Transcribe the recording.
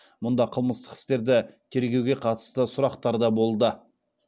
мұнда қылмыстық істерді тергеуге қатысты сұрақтар да болды